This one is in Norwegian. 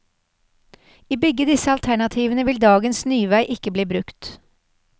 I begge disse alternativene vil dagens nyvei ikke bli brukt.